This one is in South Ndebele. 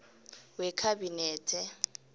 wekhabinethe